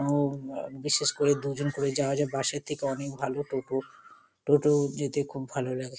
উম বা বিশেষ করে দুজন করে যাওয়া যায়। বাস -এর থেকে অনেক ভালো টোটো টোটো যেতে খুব ভালো লাগে।